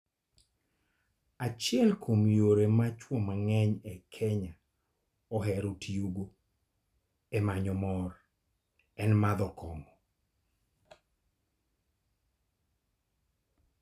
Achiel kuom yore ma chwo mang'eny e piny Kenya ohero tiyogo e manyo mor en madho kong'o.